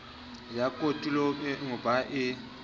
ya kotulo eo ba e